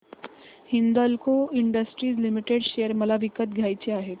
Hindalco Industries Limited share मला विकत घ्यायचे आहेत